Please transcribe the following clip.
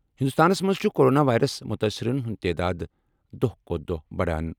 ہندوستانَس منٛز چھُ کورونا وائرس متٲثرَن ہُنٛد تعداد دۄہہ کھوتہِ دۄہہ بَڑان۔